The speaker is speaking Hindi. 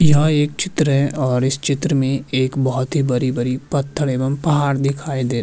यहाँ एक चित्र है और इस चित्र में एक बोहोत ही बरी - बरी पत्थर एवं पहाड़ दिखाई दे --